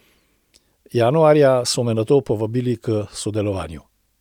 Januarja so me nato povabili k sodelovanju.